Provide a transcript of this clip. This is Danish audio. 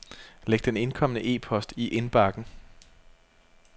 Læg den indkomne e-post i indbakken.